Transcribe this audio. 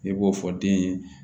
I b'o fɔ den ye